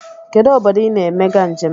Kedụ obodo I na-emega njem?